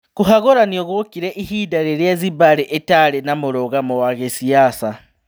Kũhagũranio gũokire ihinda rĩrĩa Zimbari ĩtarĩ na mũrugamo wa gĩsiasa.